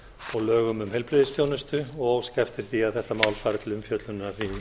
og lögum um heilbrigðisþjónustu og óska eftir því að þetta mál fari til umfjöllunar